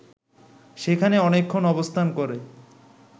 সেখানে অনেকক্ষণ অবস্থান করে